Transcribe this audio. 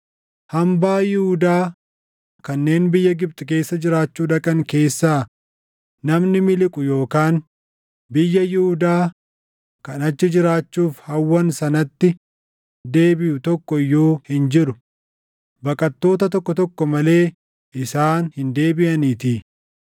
Hambaa Yihuudaa kanneen biyya Gibxi keessa jiraachuu dhaqan keessaa namni miliqu yookaan biyya Yihuudaa kan achi jiraachuuf hawwan sanatti deebiʼu tokko iyyuu hin jiru; baqattoota tokko tokko malee isaan hin deebiʼaniitii.”